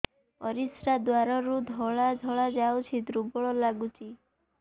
ପରିଶ୍ରା ଦ୍ୱାର ରୁ ଧଳା ଧଳା ଯାଉଚି ଦୁର୍ବଳ ଲାଗୁଚି